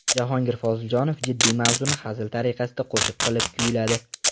Jahongir Poziljonov jiddiy mavzuni hazil tariqasida qo‘shiq qilib kuyladi.